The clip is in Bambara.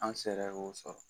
An sera k'o sɔrɔ